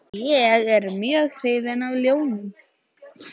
Ég er mjög hrifinn af ljónum.